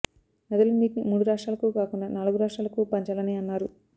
నదుల నీటిని మూడు రాష్ట్రాలకు కాకుండా నాలుగు రాష్ట్రాలకు పంచాలని అన్నారు